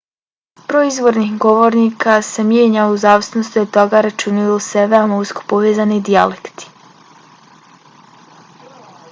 broj izvornih govornika se mijenja u zavisnosti od toga računaju li se veoma usko povezani dijalekti